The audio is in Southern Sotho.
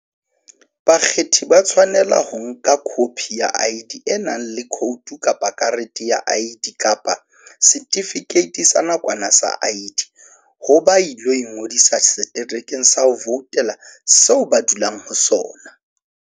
Bakgethi ba tshwanela ho nka khophi ya ID e nang le khoutu kapa karete ya ID kapa setifikeiti sa nakwana sa ID ha ba ilo ingodisa seterekeng sa ho voutela seo ba dulang ho sona.